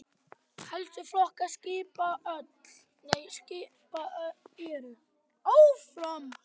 Helstu flokkar skipa eru